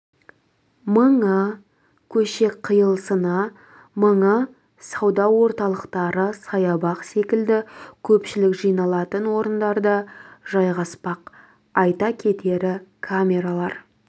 мыңы көше қиылысына мыңы сауда орталықтары саябақ секілді көпшілік жиналатын орындарда жайғаспақ айта кетері камералар